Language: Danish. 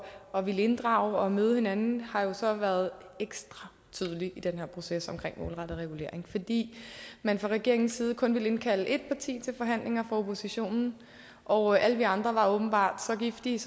at ville inddrage og møde hinanden har jo så været ekstra tydelig i den her proces omkring målrettet regulering fordi man fra regeringens side kun ville indkalde ét parti til forhandlinger fra oppositionen og alle vi andre var åbenbart så giftige